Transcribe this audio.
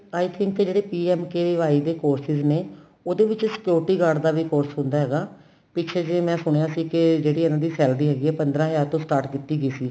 I think ਜਿਹੜੇ PMKVY ਦੇ courses ਨੇ ਉਹਦੇ ਵਿੱਚ security guard ਦਾ ਵੀ course ਹੁੰਦਾ ਹੈਗਾ ਪਿੱਛੇ ਜੇ ਮੈਂ ਸੁਣੀਆਂ ਸੀ ਕੇ ਜਿਹੜੀ ਇਹਨਾ ਦੀ salary ਹੈਗੀ ਏ ਪੰਦਰਾਂ ਹਜਾਰ ਤੋਂ start ਕੀਤੀ ਗਈ ਸੀ